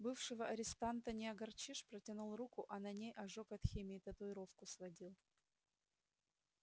бывшего арестанта не огорчишь протянул руку а на ней ожог от химии татуировку сводил